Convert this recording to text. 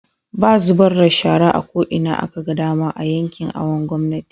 baa zubarda da shara a ko'ina akaga dama a yankin awon gomnati